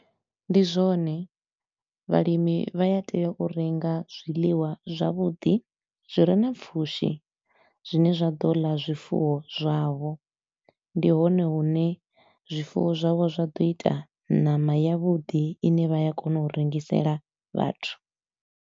Ndi zwone vhalimi vha ya tea u renga zwiḽiwa zwavhuḓi zwi re na pfushi, zwine zwa ḓo ḽa zwifuwo zwavho. Ndi hone hune zwifuwo zwavho zwa ḓo ita ṋama ya vhuḓi i ne vha ya kona u rengisela vhathu.